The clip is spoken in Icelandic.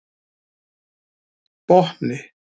Botni